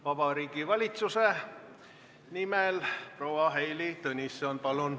Vabariigi Valitsuse nimel proua Heili Tõnisson, palun!